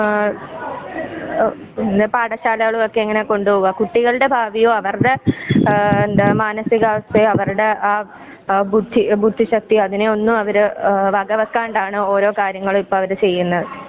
ആ പിന്നെ പാഠശാലകളുമൊക്കെ ഇങ്ങനെ കൊണ്ടുപോവുക കുട്ടികളുടെ ഭാവിയൊ അവരുടെ ആ എന്താ മാനസീക അവസ്ഥയോ അവരുടെ ആ ബുദ്ധി ബുദ്ധിശക്തിയോ അതിനെയൊന്നും അവര് വകവെക്കാണ്ടാണ് ഓരോ കാര്യങ്ങളും ഇപ്പൊ അവര് ഓരോ കാര്യങ്ങളും ചെയ്യുന്നത്.